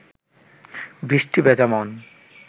বৃষ্টি ভেজা মন